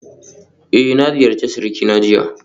Eh na ziyarci surikina jiya